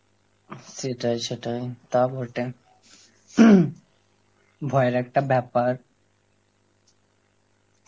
সেটাই সেটাই, তা বটে, ভয়ের একটা ব্যাপার.